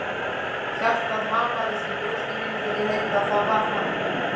Hjartað hamaðist í brjósti mínu þegar ég heyrði að það var hann.